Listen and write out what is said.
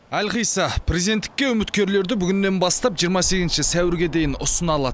әлқисса президенттікке үміткерлерді бүгіннен бастап жиырма сегізінші сәуірге дейін ұсына алады